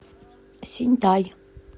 синьтай